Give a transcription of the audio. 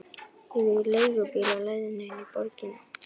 Ég er í leigubíl á leiðinni inn í borgina.